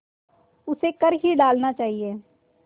उसे कर ही डालना चाहिए